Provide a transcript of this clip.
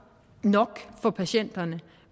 nok for patienterne og